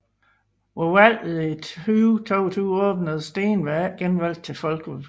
Ved valget i 2022 opnåede Steenberg ikke genvalg til Folketinget